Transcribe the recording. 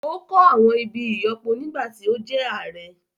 Ó kọ́ àwọn ibi ìyọ́pọ nígbà tí ó jẹ́ ààrẹ́